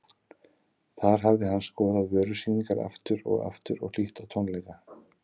Þar hafði hann skoðað vörusýningar aftur og aftur og hlýtt á tónleika.